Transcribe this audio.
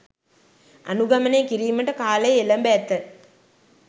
අනුගමනය කිරීමට කාලය එළැඹ ඇත